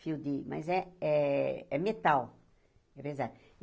Fio de... Mas é é é metal.